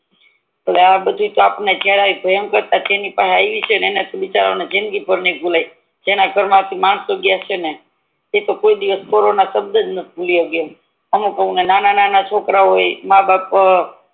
આ તો જએની પહે આયવી છે ને એને તો બિચારા ની જિંદગી ભર ની ભૂલાય જેના ઘર માંથી માણસો ગ્યા છે ને ઈતો કોઈ દિવસ કોરોના સબદ ણઠ ભૂલી હાયક અમુક નાના છોકરાઓ બી મા બાપ